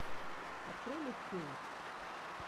открой люк кейдж